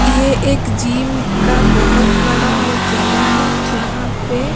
ये एक जिम का बहुत बड़ा जगह है जहां पे।